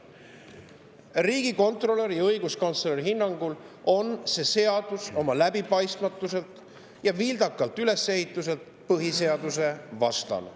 Riigikontrolöri ja õiguskantsleri hinnangul on see seadus oma läbipaistmatuse ja vildaka ülesehituse tõttu põhiseadusvastane.